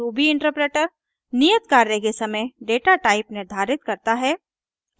Ruby interpreter नियत कार्य के समय डेटा टाइप निर्धारित करता है